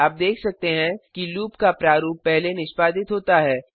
आप देख सकते हैं कि लूप का प्रारूप पहले निष्पादित होता है